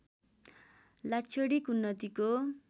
लाक्षणिक उन्नतिको